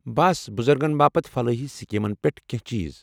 بس ،بُزرگن باپت فلٲحی سکیٖمن پٮ۪ٹھ کٮ۪نٛہہ چیٖز۔